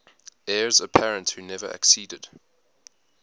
heirs apparent who never acceded